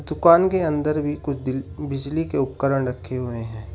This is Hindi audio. दुकान के अंदर भी कुछ बिजली के उपकरण रखे हुए हैं।